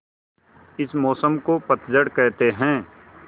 इस मौसम को पतझड़ कहते हैं